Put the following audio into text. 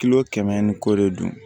Kilo kɛmɛ ni kɔ de don